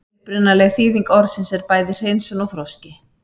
Upprunaleg þýðing orðsins er bæði hreinsun og þroski.